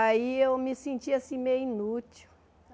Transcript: Aí eu me senti assim, meio inútil.